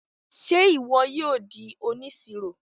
Ṣe ìwò yóò dì òníṣírò?